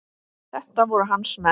Þetta voru hans menn.